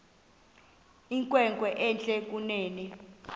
inkwenkwe entle kunene